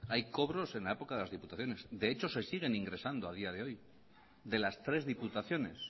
hay cobros en la época de las diputaciones de hecho se siguen ingresando a día de hoy de las tres diputaciones